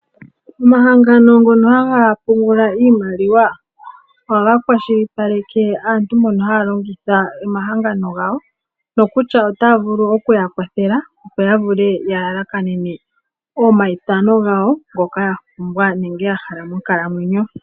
Omahangano ngono haga pungula iimaliwa ohaga kwashilipaleke aantu mbono haya longitha omahangano gawo nokutya otaya vulu oku ya kwathela, opo ya vule ya lalakanenen oamayithano gawo ngoka ya pumbwa nenge ya hala monkalamwenyo.